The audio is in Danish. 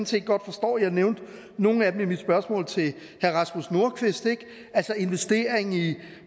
set godt forstår jeg nævnte nogle af dem i mit spørgsmål til herre rasmus nordqvist altså investering i